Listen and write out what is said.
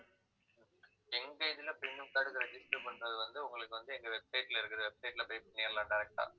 எங்க இதுல premium card register பண்றது வந்து, உங்களுக்கு வந்து, எங்க website ல இருக்கிற website ல போயி பண்ணிரலாம் direct ஆ